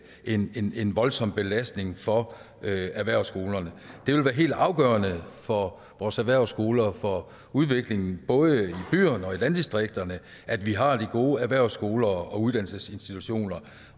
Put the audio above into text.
hen en en voldsom belastning for erhvervsskolerne det vil være helt afgørende for vores erhvervsskoler og for udviklingen både i byerne og i landdistrikterne at vi har de gode erhvervsskoler og uddannelsesinstitutioner